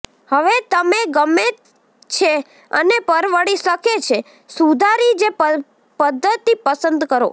હવે તમે ગમે છે અને પરવડી શકે છે સુધારી જે પદ્ધતિ પસંદ કરો